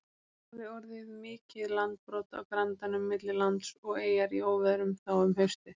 Hafði orðið mikið landbrot á grandanum milli lands og eyjar í óveðrum þá um haustið.